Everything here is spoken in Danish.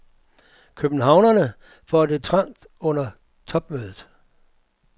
Københavnerne får det trangt under topmødet.